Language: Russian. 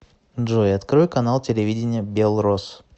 джой открой канал телевидения белрос